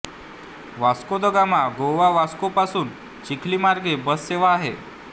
वास्को द गामा गोवावास्कोपासून चिखली मार्गे बससेवा आहे